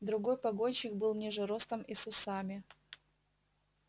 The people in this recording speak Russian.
другой погонщик был ниже ростом и с усами